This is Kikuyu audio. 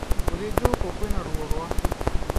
Gũthinjwo gũkũ kwina ũũru wake.